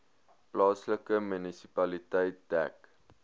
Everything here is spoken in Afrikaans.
plaaslike munisipaliteit dek